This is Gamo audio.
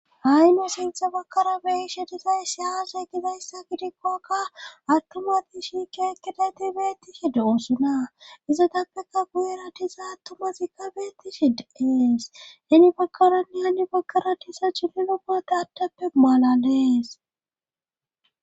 Ayno sintha bakkara beishe disay si aazay gizayssa gidikkokka attomati shiike ekkedayti beettishe doossuna izatappeka gu'era tiza attomazikka beettishi deees heni bakkaranne heni bakara tisa culi lo bate attappe maalan dees.